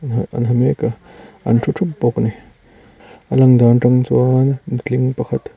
ah an ha mek a an thu thup bawk a ni a lan dan atang chuan nutling pakhat--